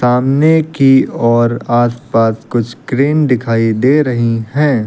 सामने की ओर आसपास कुछ क्रेन दिखाई दे रही हैं।